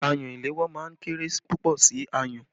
Ayùn ìléwọ́ máa ń kéré púpọ̀ sí ayùn.